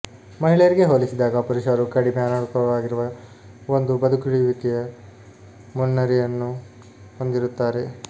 ಮಹಿಳೆಯರಿಗೆ ಹೋಲಿಸಿದಾಗ ಪುರುಷರು ಕಡಿಮೆ ಅನುಕೂಲಕರವಾಗಿರುವ ಒಂದು ಬದುಕುಳಿಯುವಿಕೆಯ ಮುನ್ನರಿವನ್ನು ಹೊಂದಿರುತ್ತಾರೆ